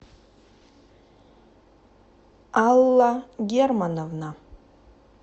алла германовна